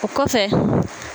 O kɔ kɔfɛ.